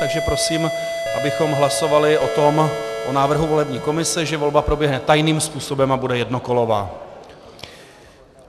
Takže prosím, abychom hlasovali o návrhu volební komise, že volba proběhne tajným způsobem a bude jednokolová.